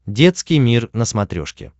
детский мир на смотрешке